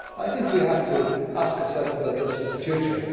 I think we have to ask ourselves about this for the future.